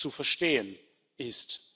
zu verstehen ist.